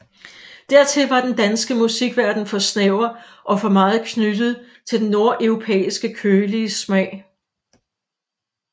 Dertil var den danske musikverden for snæver og for meget knyttet til den nordeuropæiske kølige smag